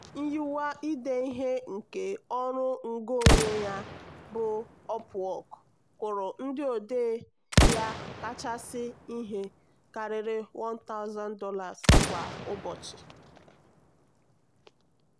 nyiwe ide ihe nke ọrụ ngo onwe bụ upwork kwụrụ ndị odee ya kachasị ihe karịrị $1000 kwa ụbọchị.